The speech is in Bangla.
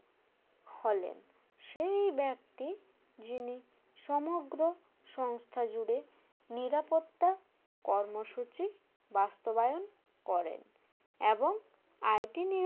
হলেন সেই ব্যক্তি যিনি সমগ্র সংস্থা জুড়ে নিরাপত্তা কর্মসূচি বাস্তবায়ন করেন এবং IT